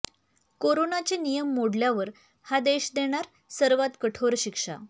कोरोनाचे नियम मोडल्यावर हा देश देणार सर्वात कठोर शिक्षा